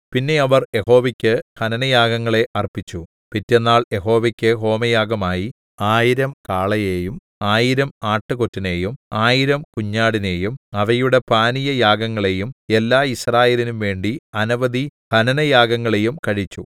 പിന്നെ അവർ യഹോവയ്ക്കു് ഹനനയാഗങ്ങളെ അർപ്പിച്ചു പിറ്റെന്നാൾ യഹോവയ്ക്കു് ഹോമയാഗമായി ആയിരം 1000 കാളയെയും ആയിരം ആട്ടുകൊറ്റനെയും ആയിരം കുഞ്ഞാടിനെയും അവയുടെ പാനീയയാഗങ്ങളെയും എല്ലാ യിസ്രായേലിനുംവേണ്ടി അനവധി ഹനനയാഗങ്ങളെയും കഴിച്ചു